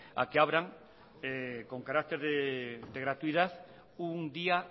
a que abran con carácter de gratuidad un día